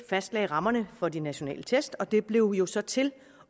fastlagde rammerne for de nationale test og det blev jo så til